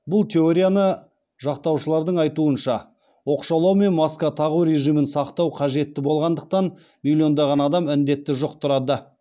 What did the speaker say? бұл теорияны жақтаушылардың айтуынша оқшаулау мен маска тағу режимін сақтау қажетті болғандықтан миллиондаған адам індетті жұқтырады